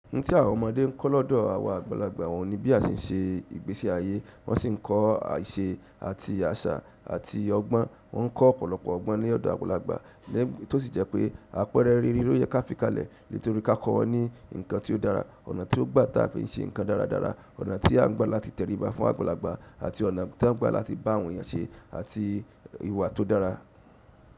Ohun tí àwọn ọmọdé ń kọ́ lọ́dọ̀ àwọn àgbàlagbà wọn ni bí a ṣe ń ṣe ìgbésí ayé, wọ́n sì ń kọ́ àṣà àti àṣà àti ọgbọ́n. Wọn ko ọ̀pọ̀lọpọ̀ ọgbọn ni ọdọ àgbàlagbà to sí je pe àpẹẹrẹ réré loye ka fi kalẹ̀ nítorí ka kọ wọn ni nkan ti o dára ọ̀nà ti ọ gba ti a fi se kan dáradára ọ̀nà ti a n gba láti tẹriba fún àgbàlagbà. Àti ọ̀nà tí a ń gbà láti bá àwọn èèyàn ṣe àti ìwà tó dára.